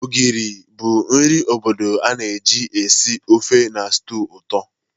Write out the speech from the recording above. Ogiri bụ nri obodo a na-eji esi ofe na stew ụtọ.